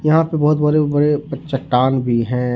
यहां पे बहोत बड़े बड़े चट्टान भी है ।